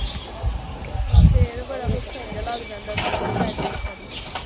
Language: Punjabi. ਹਾਂ ਫੇਰ ਬੜਾ ਲੱਗ ਜਾਂਦਾ, ਜੇ ਮੀਂਹ ਪੈ ਜੇ ਇੱਕ ਵਾਰੀ ਤੇ।